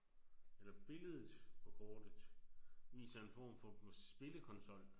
Eller billedet på kortet viser en form for spillekonsol